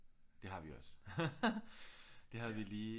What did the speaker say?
Det har vi også det har vi lige